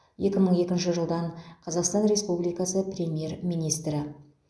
екі мың екінші жылдан қазақстан республикасы премьер министрі